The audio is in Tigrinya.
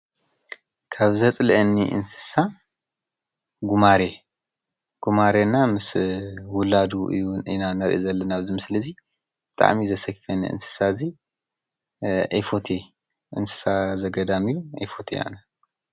ካብ ዘፅለአኒ እንስሳ ጉማሬ ፡፡ ጉማሬ እና ምስ ውላዱ እዩ ኢና እንሪኢ ዘለና ኣብዚ ምስሊ እዚ ብጣዕሚ ዘስክፈኒ እዚ እንስሳ እዚ ኣይፈትዎን፡፡ እንስሳ ዘገዳም እዩ ኣይፈትዎን ኣነ፡፡